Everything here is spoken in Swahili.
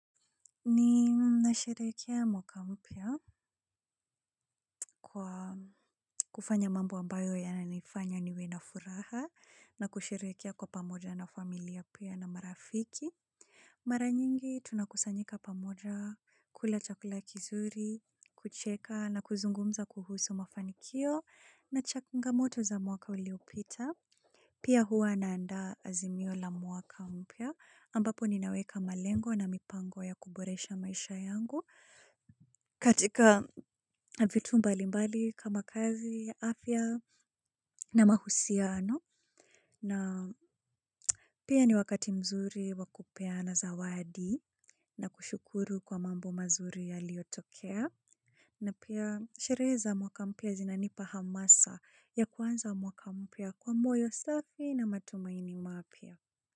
Ni nashirikeha mwaka mpya kwa kufanya mambo ambayo ya nanifanya niwe na furaha na kushirikeha kwa pamoja na familia pia na marafiki. Maranyingi tunakusanyika pamoja, kula chakula kizuri, kucheka na kuzungumza kuhusu mafanikio na changamoto za mwaka uliopita. Pia huwa na andaa azimio la mwaka mpya ambapo ninaweka malengo na mipango ya kuboresha maisha yangu katika vitu mbali mbali kama kazi, afya na mahusiano. Na pia ni wakati mzuri wakupeana zawadi na kushukuru kwa mambo mazuri ya liotokea. Na pia shereza mwaka mpya zinanipa hamasa ya kuanza mwaka mpya kwa moyo safi na matumaini mapya.